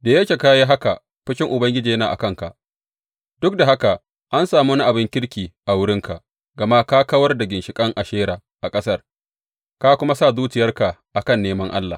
Da yake ka yi haka fushin Ubangiji yana a kanka Duk da haka an sami wani abin kirki a wurinka, gama ka kawar da ginshiƙan Ashera a ƙasar, ka kuma sa zuciyarka a kan neman Allah.